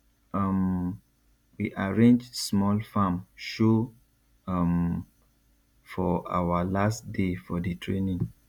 um we arrange small farm show um for awa last day for di training